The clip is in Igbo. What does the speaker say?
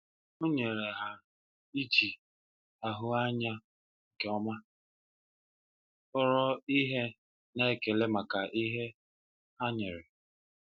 Ọ n'enyere ha iji n'ahụ anya nke ọma, kpọrọ ihe na ekele maka ihe ha nwere.